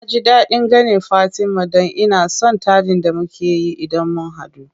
Naji daɗin ganin fatima dan ina son taɗin da mukeyi idan mun hadu.